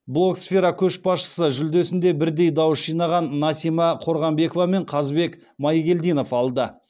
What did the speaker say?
блогсфера көшбасшысы жүлдесін де бірдей дауыс жинаған насима қорғанбекова мен қазбек майгелдинов алды